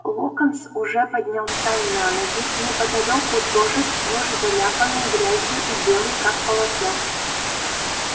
локонс уже поднялся на ноги неподалёку тоже сплошь заляпанный грязью и белый как полотно